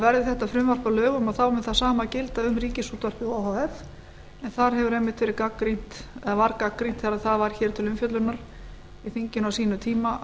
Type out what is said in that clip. verði þetta frumvarp að lögum mun það sama gilda um ríkisútvarpið o h f en þar var einmitt gagnrýnt þegar það var hér til umfjöllunar í þinginu á sínum tíma